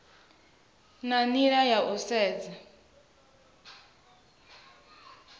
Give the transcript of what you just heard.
na nila ya u sedza